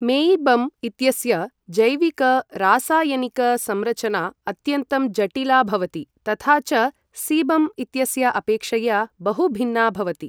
मेयिबम् इत्यस्य जैविक रासायनिक संरचना अत्यन्तं जटिला भवति तथा च सीबम् इत्यस्य अपेक्षया बहु भिन्ना भवति।